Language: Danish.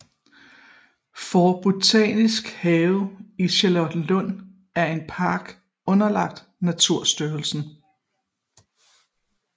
Forstbotanisk Have i Charlottenlund er en park underlagt Naturstyrelsen